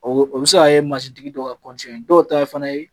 O be, o be se ka kɛ tigi dɔw ye . Dɔw ta ye fana ye